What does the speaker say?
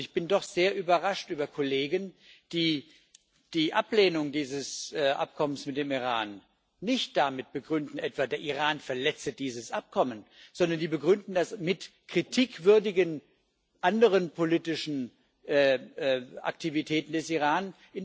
Ich bin doch sehr überrascht über Kollegen, die die Ablehnung dieses Abkommens mit dem Iran nicht etwa damit begründen, der Iran verletze dieses Abkommen, sondern sie begründen das mit anderen kritikwürdigen politischen Aktivitäten des Iran.